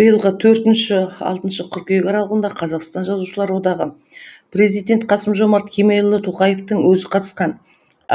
биылғы төртінші алтыншы қыркүйек аралығында қазақстан жазушылар одағы президент қасым жомарт кемелұлы тоқаевтың өзі қатысқан